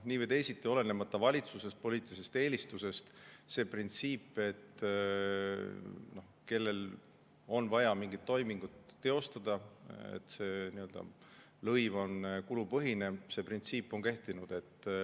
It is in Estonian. Nii või teisiti, olenemata valitsusest ja poliitilisest eelistusest on kehtinud see printsiip, et kui kellelgi on vaja mingit toimingut teostada, siis see lõiv on kulupõhine.